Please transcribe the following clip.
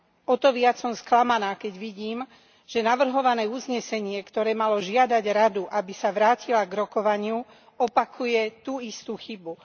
O to viac som sklamaná, keď vidím, že navrhované uznesenie, ktoré malo žiadať Radu, aby sa vrátila k rokovaniu, opakuje tú istú chybu.